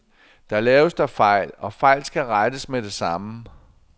Der laves da fejl, og fejl skal rettes med det samme.